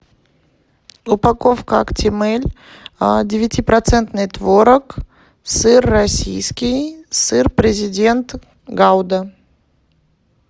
упаковка актимель девяти процентный творог сыр российский сыр президент гауда